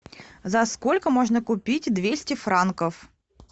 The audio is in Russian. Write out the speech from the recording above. за сколько можно купить двести франков